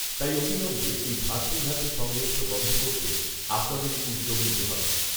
তাই অবিলম্বে এই ভ্রাতৃঘাতী সংঘর্ষ বন্ধ করতে আপনাদেরই উদ্যোগ নিতে হবে